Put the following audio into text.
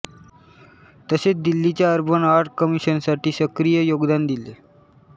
तसेच दिल्लीच्या urban art कमिशनसाठी सक्रिय योगदान दिले